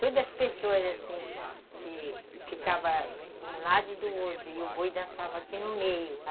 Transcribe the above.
Todas as pessoas, assim, que ficavam de um lado e do outro, e o boi dançava aqui no meio.